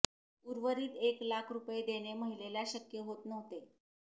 उर्वरित एक लाख रुपये देणे महिलेला शक्य होत नव्हते